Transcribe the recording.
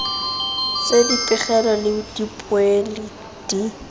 tsa dipegelo le dipoelo di